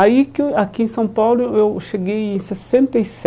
Aí, que eu aqui em São Paulo, eu cheguei em sessenta e